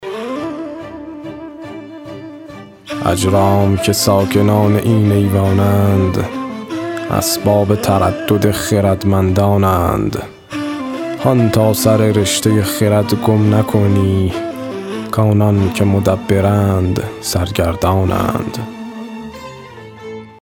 اجرام که ساکنان این ایوان اند اسباب تردد خردمندان اند هان تا سر رشته خرد گم نکنی کآنان که مدبرند سرگردان اند